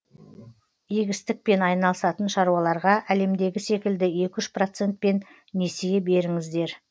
егістікпен айналысатын шаруаларға әлемдегі секілді екі үш процентпен несие беріңіздер